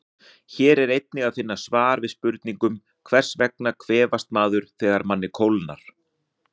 Hér er einnig að finna svar við spurningunum: Hvers vegna kvefast maður þegar manni kólnar?